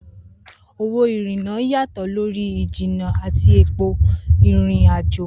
Owó ìrìnnà yàtọ̀ lórí ìjìnnà àti ipò ìrìn-àjò.